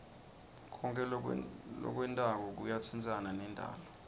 konkhe lokwentako kuyatsintsana nendalo